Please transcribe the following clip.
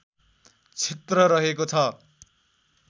क्षेत्र रहेको छ